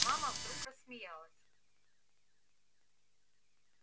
мама вдруг рассмеялась